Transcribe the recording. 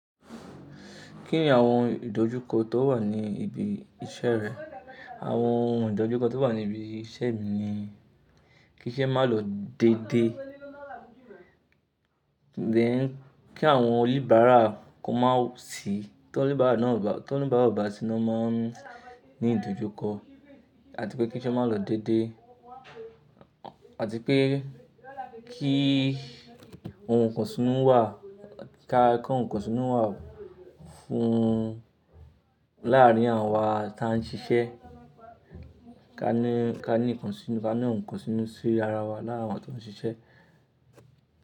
Kí ni àwọn ìdojúkọ tó wà ní ibi iṣẹ́ rẹ? Àwọn ìdojúkọ tó wà ní ibi iṣẹ́ mi ni kí iṣẹ́ má lọ dédé. Then kí àwọn oníbàárà kó má sì, tó oníbàárà bá ti wá, tí wọ́n oníbàárà bá ti wá, ti wọn má ní ìdojúkọ. Àti pé kí iṣẹ́ má lọ dédé. Àti pé kí ohun kan sínú wà, ká kó ohun kan sínú wà fún láàrin àwọn wa tí ń ṣiṣẹ́. Kání kání nkan sínú, kání nkan sínú sí ara wa lára wa tó ń ṣiṣẹ́.